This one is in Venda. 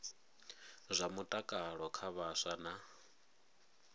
zwa mutakalo kha vhaswa na